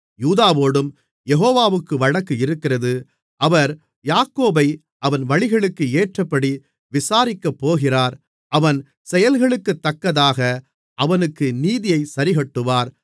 யூதாவோடும் யெகோவாவுக்கு வழக்கு இருக்கிறது அவர் யாக்கோபை அவன் வழிகளுக்கு ஏற்றபடி விசாரிக்கப்போகிறார் அவன் செயல்களுக்குத்தக்கதாக அவனுக்கு நீதியைச் சரிக்கட்டுவார்